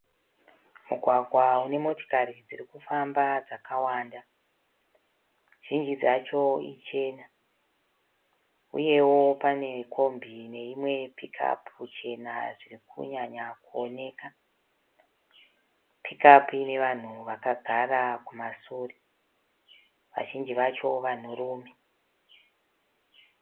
Mugwagwa unemotokari dzirikufamba dzakawanda. Zvinji dzacho ichena, Uyewo pane kombi neimwe pikiapu chena zvirikunyanya kuoneka. Pikiapu ine vanhu vakagara kumashure, vazhinji vacho vanhurume.